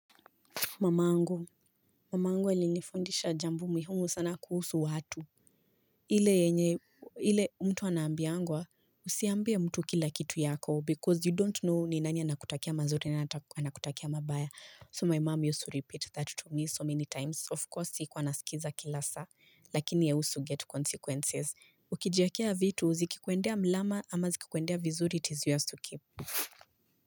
Mamangu, mamangu alinifundisha jambo muhimu sana kuhusu watu. Ile yenye, ile mtu anaambiangwa, usiambie mtu kila kitu yako because you don't know ni nani anakutakia mazuri na anakutakia mabaya. So my mom used to repeat that to me so many times. Of course, sikuwa nasikiza kila saa, lakini i also get consequences. Ukijiekea vitu, zikikuendea mlama ama zikikuendea vizuri its yours to keep.